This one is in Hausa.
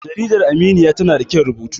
jarida aminiya tana da kyan rubutu